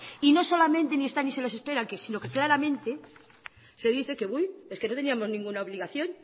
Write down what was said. y no solamente ni están ni se les esperan sino que claramente se dice que es que no teníamos ninguna obligación